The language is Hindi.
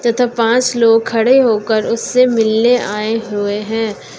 तथा पांच लोग खड़े होकर उससे मिलने आए हुए हैं।